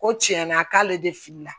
Ko tiɲɛna k'ale de filila